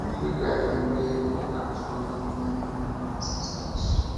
family gathering dey important to honor the memory of um our ancestors